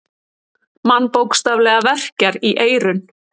Mann bókstaflega verkjar í eyrun.